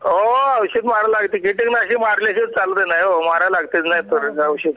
मारायला लागत कि किटकनाशक मारल्या शिवाय चालतच नाही हो मारायला लागत तुरीला औषध